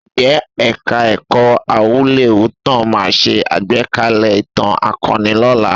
Ǹjẹ́ Ẹ̀ka-ẹ̀kọ́ Awúlẹ̀wútàn máa ṣe àgbékalẹ̀ ìtàn akọni lọ́la?